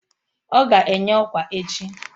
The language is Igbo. Ọ ga-enye ọkwa echi